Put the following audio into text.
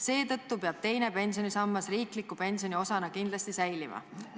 Seetõttu peab teine pensionisammas riikliku pensioni osana kindlasti säilima.